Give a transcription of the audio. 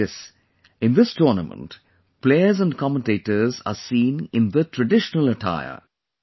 Not only this, in this tournament, players and commentators are seen in the traditional attire